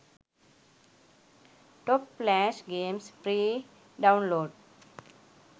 top flash games free download